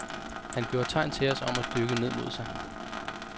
Han gjorde tegn til os om at dykke ned mod sig.